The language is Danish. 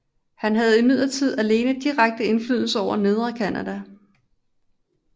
Han havde imidlertid alene direkte indflydelse over Nedre Canada